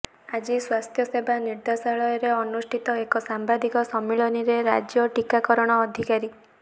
ଆଜି ସ୍ୱାସ୍ଥ୍ୟସେବା ନିର୍ଦେଶାଳୟରେ ଅନୁଷ୍ଠିତ ଏକ ସାମ୍ବାଦିକ ସମ୍ମିଳନୀରେ ରାଜ୍ୟ ଟିକାକରଣ ଅଧିକାରୀ ଡା